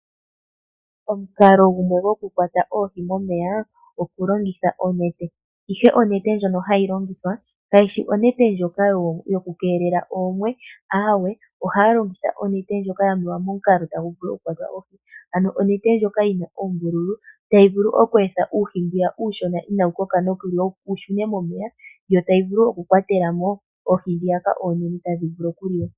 Omukalo gumwe gwoku kwata oohi momeya okulongitha onete ,ihe onete ndjono hayi longithwa kayishi onete ndjoka yoku keelela oomwe aawe ohaya longitha onete ndjoka yamewa momukalo tagu vulu okukwata oohi ano onete ndjoka yina oombululu tayi vulu oku etha uuhi mbu uushona inawukoka wu shune momeya yo tayi vulu oku kwatelamo oohi ndhoka oonene tadhi vulu okuliwa.